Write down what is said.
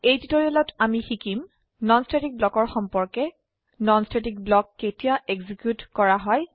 এই টিউটোৰিয়েলত আমি শিকিম নন স্ট্যাটিক ব্লকৰ সম্পৰ্কে নন স্ট্যাটিক ব্লক কেতিয়া এক্সিকিউট কৰা হয়